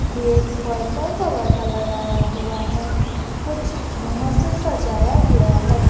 Gate purple colour का लगाया हुआ है कुछ झूमर से सजाया गया है।